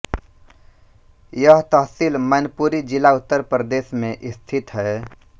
यह तहसील मैनपुरी जिला उत्तर प्रदेश में स्थित है